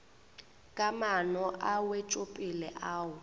ka maano a wetšopele ao